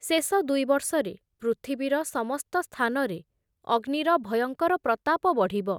ଶେଷ ଦୁଇବର୍ଷରେ ପୃଥିବୀର ସମସ୍ତ ସ୍ଥାନରେ ଅଗ୍ନିର ଭୟଙ୍କର ପ୍ରତାପ ବଢ଼ିବ ।